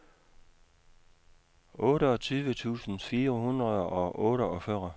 otteogtyve tusind fire hundrede og otteogfyrre